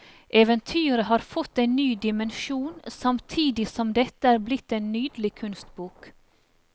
Eventyret har fått en ny dimensjon samtidig som dette er blitt en nydelig kunstbok.